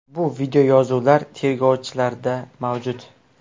Bu videoyozuvlar tergovchilarda mavjud.